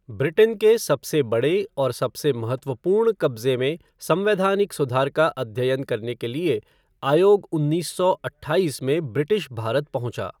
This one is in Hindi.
ब्रिटेन के सबसे बड़े और सबसे महत्वपूर्ण कब्ज़े में संवैधानिक सुधार का अध्ययन करने के लिए आयोग उन्नीस सौ अट्ठाईस में ब्रिटिश भारत पहुँचा।